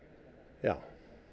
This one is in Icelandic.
já